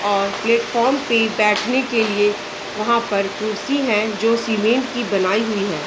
और प्लेटफार्म पर बैठने के लिए वहां पर कुर्सी है जो सीमेंट की बनाई हुई है।